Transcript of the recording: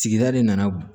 Sigida de nana